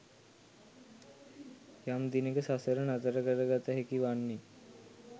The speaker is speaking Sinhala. යම් දිනක සසර නතර කර ගත හැකි වන්නේ